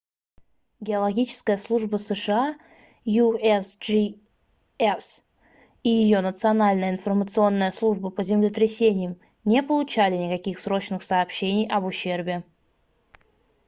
геологическая служба сша usgs и ее национальная информационная служба по землетрясениям не получали никаких срочных сообщений об ущербе